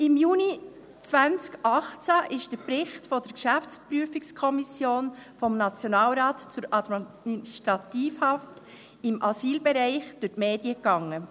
Im Juni 2018 ging der Bericht der Geschäftsprüfungskommission des Nationalrates zur Administrativhaft im Asylbereich durch die Medien.